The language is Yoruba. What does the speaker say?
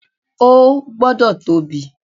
O gbọ́dọ̀ tóbi.